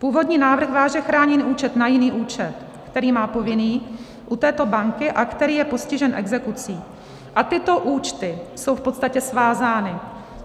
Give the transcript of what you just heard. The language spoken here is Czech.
Původní návrh váže chráněný účet na jiný účet, který má povinný u této banky a který je postižen exekucí, a tyto účty jsou v podstatě svázány.